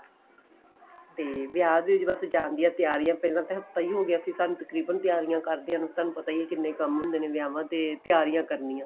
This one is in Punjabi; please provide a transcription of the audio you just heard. ਦੇ ਵਿਆਹ ਦੇ ਵਿੱਚ ਜਾਣ ਦੀਆਂ ਤਿਆਰੀਆਂ ਪਹਿਲਾਂ ਤਾਂ ਹਫਤਾ ਹੋ ਗਿਆ ਸੀ ਸਾਨੂੰ ਤਕਰੀਬਨ ਤਿਆਰੀਆਂ ਕਰਦਿਆਂ ਨੂੰ ਤੁਹਾਨੂੰ ਪਤਾ ਹੀ ਏ ਕਿੰਨੇ ਕੰਮ ਹੁੰਦੇ ਨੇ ਵਿਆਵਾਂ ਤੇ ਤਿਆਰੀਆਂ ਕਰਨੀਆਂ